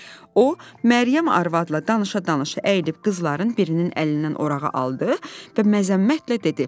O Məryəm arvadla danışa-danışa əyilib qızların birinin əlindən orağı aldı və məzəmmətlə dedi: